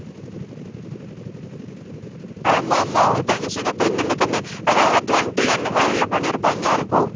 ஆமா ஆமா அவங்க தங்கச்சிக்கு அப்ப அதான் அந்த twenty அந்த மாதிரில பண்ணியிருப்பாங்களா இருக்கும்